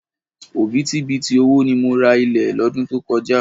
Òbítíbitì owó ni mo ra ilẹ̀ lọ́dún tó kọjá.